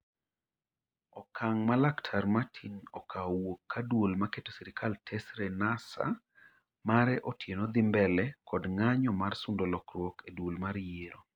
Okang' ma laktar Matin okawo owuok ka duol ma keto sirikal tesre NASA ,mare Otieno dhi mbele kod ng'anyo mar sundo lokwruok e duol mar yiero